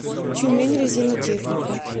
тюменьрезинотехника